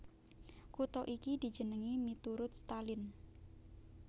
Kutha iki dijenengi miturut Stalin